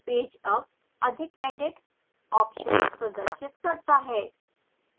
page अब अधिक edit options प्रदर्शित करता है